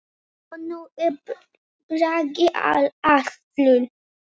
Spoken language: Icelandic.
Og nú er Bragi allur.